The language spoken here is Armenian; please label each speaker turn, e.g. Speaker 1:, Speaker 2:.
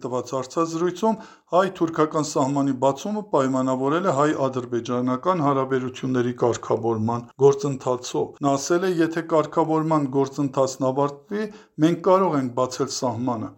Speaker 1: տված հարցազրույցում, հայ-թուրքական սահմանի բացումը պայմանավորել է հայ-ադրբեջանական հարաբերությունների կարգավորման գործընթացով։ «Եթե կարգավորման գործընթացն ավարտվի, մենք կարող ենք բացել սահմանը